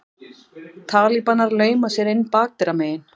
Talibanar lauma sér inn bakdyramegin